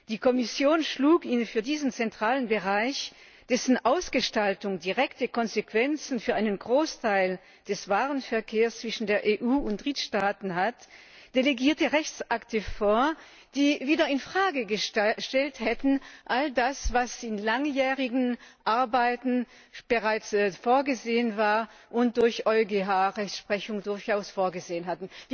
Die Kommission schlug für diesen zentralen Bereich, dessen Ausgestaltung direkte Konsequenzen für einen Großteil des Warenverkehrs zwischen der EU und Drittstaaten hat, delegierte Rechtsakte vor, die wieder all das in Frage gestellt hätten, was in langjährigen Arbeiten bereits vorgesehen war und nach EuGH Rechtsprechung durchaus vorgesehenist.